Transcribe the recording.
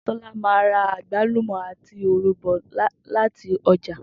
Tó̩lá máa ra àgbálúmò̩ àti òro bò̩ láti o̩jà